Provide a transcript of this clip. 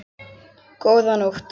Góða nótt.